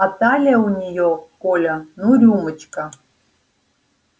а талия у нее коля ну рюмочка